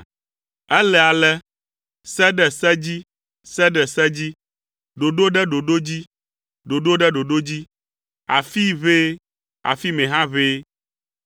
Ele ale; se ɖe se dzi, se ɖe se dzi. Ɖoɖo ɖe ɖoɖo dzi, ɖoɖo ɖe ɖoɖo dzi; afii ʋɛe, afi mɛ hã ʋɛe.”